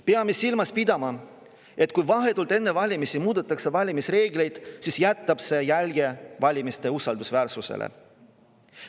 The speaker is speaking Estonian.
Peame silmas pidama, et kui vahetult enne valimisi muudetakse valimisreegleid, siis jätab see jälje valimiste usaldusväärsusele.